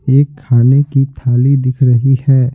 एक खाने की थाली दिख रही है।